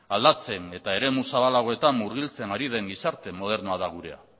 aldatzen eta eremu zabalagoetan murgiltzen ari den gizarte modernoa da gure